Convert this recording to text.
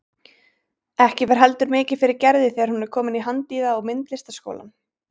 Ekki fer heldur mikið fyrir Gerði þegar hún er komin í Handíða- og myndlistaskólann.